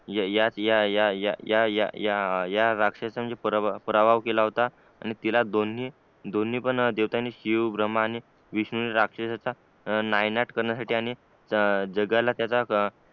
या राक्षस चा पराभव केला होता आणि तिला दोन्ही दोन्ही पण देवतांनी शिवब्रम्हा आणि विष्णू ने राक्षसाचा नायनाट काकारण्यासाठी आणि जगाला त्याचा